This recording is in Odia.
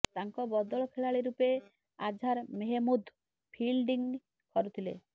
ତାଙ୍କ ବଦଳ ଖେଳାଳି ରୂପେ ଆଝାର୍ ମେହେମ୍ମୁଦ୍ ଫିଲଡିଂ କରୁଥିଲେ